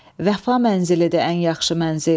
Vəfa mənzilidir ən yaxşı mənzil.